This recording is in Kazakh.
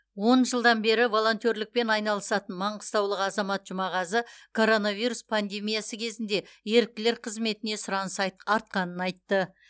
он жылдан бері волонтерлікпен айналысатын маңғыстаулық азамат жұмағазы коронавирус пандемиясы кезінде еріктілер қызметіне сұраныс айт артқанын айтты